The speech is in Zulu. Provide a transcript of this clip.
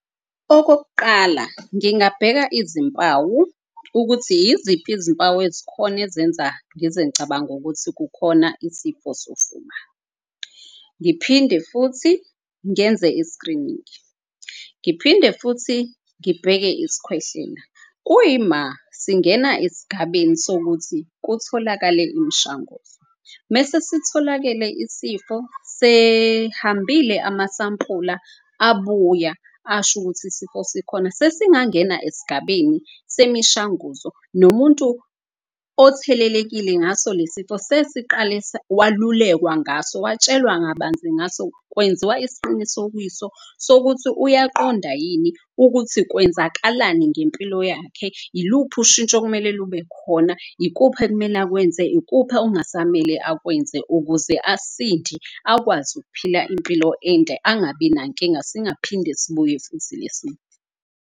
Okokuqala, ngingabheka izimpawu ukuthi yiziphi izimpawu ezikhona ezenza ngize ngicabange ukuthi kukhona isifo sofuba. Ngiphinde futhi ngenze i-screening-i, ngiphinde futhi ngibheke isikhwehlela. Kuyima singena esigabeni sokuthi kutholakale imshanguzo mese sitholakele isifo. Sehambile amasampula abuya ashukuthi isifo sikhona, sesingangena esigabeni semishanguzo. Nomuntu othelelekile ngaso lesifo sesiqale walulekwa ngaso, watshelwa ngabanzi ngaso. Kwenziwa isiqinisokiso sokuthi uyaqonda yini ukuthi kwenzakalani ngempilo yakhe. Yiluphi ushintsho okumele lube khona, ikuphi okumele akwenze, ikuphi ongasamele akwenze ukuze asinde. Akwazi ukuphila impilo ende angabi nankinga, singaphinde sibuye futhi le sifo.